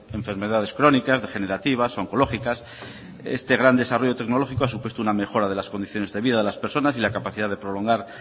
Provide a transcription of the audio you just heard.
enfermedades crónicas degenerativas oncológicas este gran desarrollo tecnológico ha supuesto una mejora de las condiciones de vida de las personas y la capacidad de prolongar